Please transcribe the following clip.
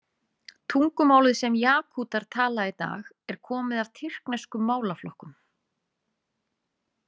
Tungumálið sem Jakútar tala í dag er komið af tyrkneskum málaflokkum.